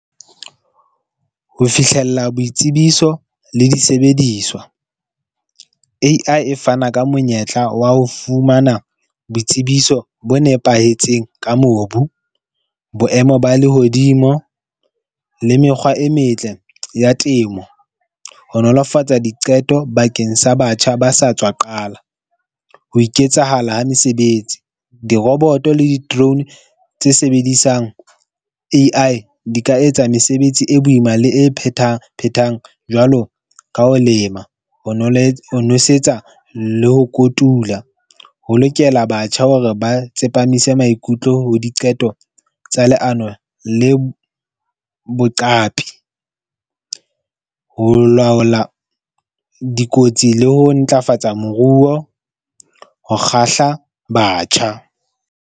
Ho fihlella boitsebiso le disebediswa. A_I e fana ka monyetla wa ho fumana boitsebiso bo nepahetseng ka mobu, boemo ba lehodimo le mekgwa e metle ya temo, ho nolofatsa diqeto bakeng sa batjha ba sa tswa qala. Ho iketsahala ha mesebetsi. Diroboto le di-drone tse sebedisang A_I di ka etsa mesebetsi e boima le e phethaphethang jwalo ka ho lema. Ho ho nosetsa le ho kotula. Ho lokela batjha hore ba tsepamise maikutlo ho diqeto tsa leano le boqapi. Ho laola dikotsi le ho ntlafatsa moruo ho kgahla batjha.